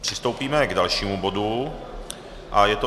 Přistoupíme k dalšímu bodu a je to